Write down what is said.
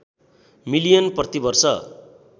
million प्रति वर्ष